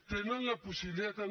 tenen la possibilitat